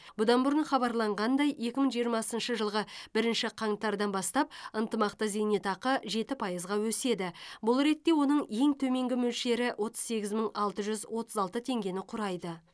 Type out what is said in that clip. бұдан бұрын хабарланғандай екі мың жиырмасыншы жылғы бірінші қаңтардан бастап ынтымақты зейнетақы жеті пайызға өседі бұл ретте оның ең төменгі мөлшері отыз сегіз мың алты жүз отыз алты теңгені құрайды